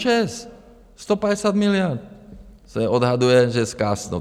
ČEZ. 150 miliard se odhaduje, že zkásnou.